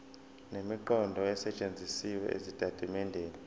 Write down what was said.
nemiqondo esetshenzisiwe ezitatimendeni